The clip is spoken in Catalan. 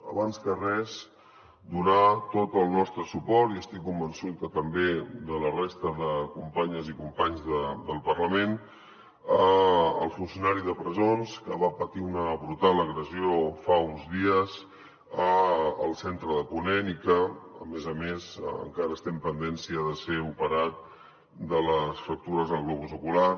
abans que res donar tot el nostre suport i estic convençut que també de la resta de companyes i companys del parlament al funcionari de presons que va patir una brutal agressió fa uns dies al centre de ponent i que a més a més encara estem pendents de si ha de ser operat de les fractures al globus ocular